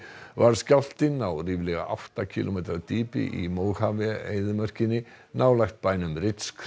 varð skjálftinn á ríflega átta kílómetra dýpi í eyðimörkinni nálægt bænum